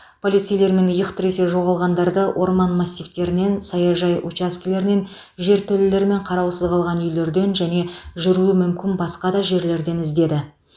полицейлермен иық тіресе жоғалғандарды орман массивтерінен саяжай учаскелерінен жертөлелер мен қараусыз қалған үйлерден және жүруі мүмкін басқа да жерлерден іздеді